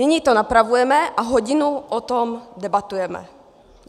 Nyní to napravujeme a hodinu o tom debatujeme.